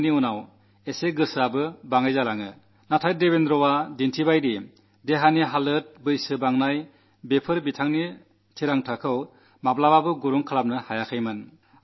ഒരിക്കൽ സ്വർണ്ണപ്പതക്കം നേടിക്കഴിഞ്ഞാൽ ആവേശവും കുറയുന്നു എന്നാൽ ദേവേന്ദ്രൻ കാട്ടിയത് ശരീരത്തിന്റെ അവസ്ഥ പ്രായമേറുന്നത് അദ്ദേഹത്തിന്റെ നിശ്ചയദാർഢ്യത്തെ ഒരിക്കലും മന്ദീഭവിപ്പിച്ചില്ല എന്നാണ്